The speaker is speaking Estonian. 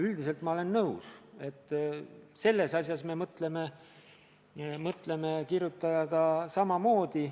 Üldiselt ma olen nõus, selles asjas me mõtleme kirjutajaga samamoodi.